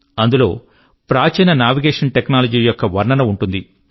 అందులో ప్రాచీన navigation technology యొక్క వర్ణన ఉంటుంది